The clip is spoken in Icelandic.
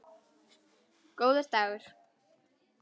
Góður dagur!